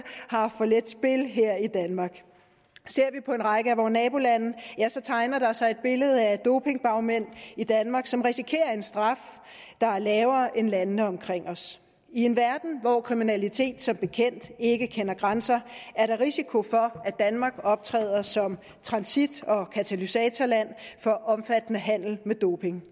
har for let spil her i danmark ser vi på en række af vore nabolande tegner der sig et billede af dopingbagmænd i danmark som risikerer en straf der er lavere end i landene omkring os i en verden hvor kriminalitet som bekendt ikke kender grænser er der risiko for at danmark optræder som transit og katalysatorland for omfattende handel med doping